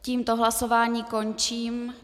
Tímto hlasování končím.